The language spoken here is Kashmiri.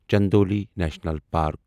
Chandauli national park